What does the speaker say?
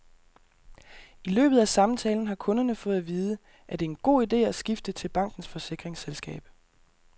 I løbet af samtalen har kunderne fået at vide, at det er en god ide at skifte til bankens forsikringsselskab.